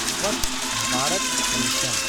Swachh Bharat mission